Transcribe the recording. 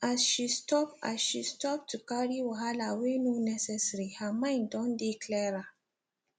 as she stop as she stop to carry wahala wey no necessary her mind don dey clearer